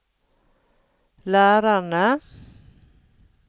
lærerne